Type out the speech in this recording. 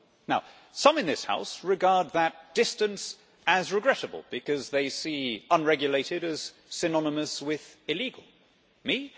Now, some in this House regard that distance as regrettable, because they see unregulated as synonymous with illegal. Me?